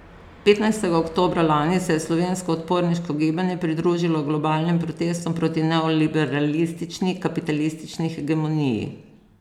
Petnajstega oktobra lani se je slovensko odporniško gibanje pridružilo globalnim protestom proti neoliberalistični, kapitalistični hegemoniji.